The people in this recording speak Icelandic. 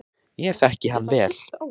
Ég þekki hann vel.